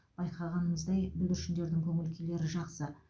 байқағанымыздай бүлдіршіндердің көңіл күйлері жақсы